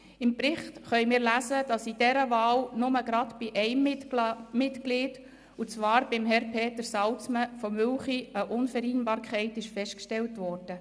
Im Bericht kann man lesen, dass bei dieser Wahl nur gerade bei einem Mitglied, und zwar bei Herrn Peter Salzmann aus Mülchi, eine Unvereinbarkeit festgestellt wurde.